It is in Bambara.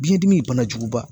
Biɲɛ dimi banajuguba